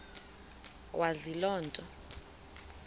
wazi loo nto